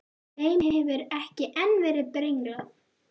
Þeim hefur ekki enn verið brenglað.